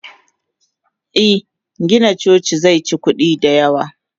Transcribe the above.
Eh Gina coci zeci kudi da yawa.